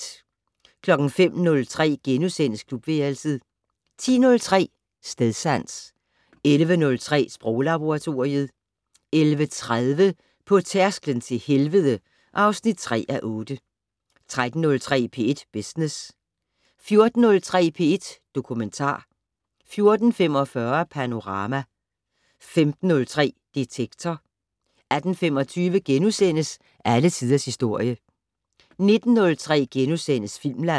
05:03: Klubværelset * 10:03: Stedsans 11:03: Sproglaboratoriet 11:30: På tærsklen til helvede (3:8) 13:03: P1 Business 14:03: P1 Dokumentar 14:45: Panorama 15:03: Detektor 18:25: Alle tiders historie * 19:03: Filmland *